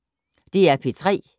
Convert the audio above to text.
DR P3